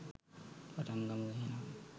පටන් ගමු එහෙනම්.